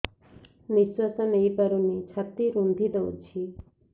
ନିଶ୍ୱାସ ନେଇପାରୁନି ଛାତି ରୁନ୍ଧି ଦଉଛି